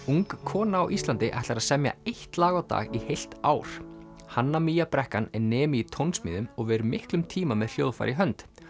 ung kona á Íslandi ætlar að semja eitt lag á dag í heilt ár hanna brekkan er nemi í tónsmíðum og ver miklum tíma með hljóðfæri í hönd